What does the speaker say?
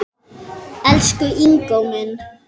Elsku Ingó minn.